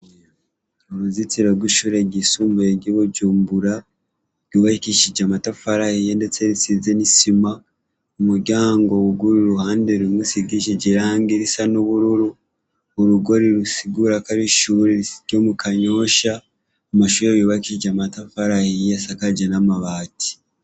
Uruzitiro gw' ishure ryisumbuye ry' iBujumbura ryubakishije amatafari ahiye ndetse risize n' isima umuryango wuguruye uruhande rumwe rusigishijwe irangi risa n' ubururu urugo rusigura ko ari ishure ryo mu kanyosha amashure yubakije amatafari ahiye asakaje n' amabati.